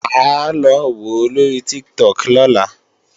Mà á lọ wòó lóri Tiktok lọ́la